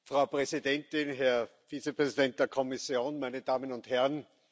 Frau Präsidentin, Herr Vizepräsident der Kommission, meine Damen und Herren!